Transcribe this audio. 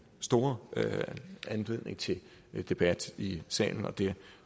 store anledning til debat i salen og det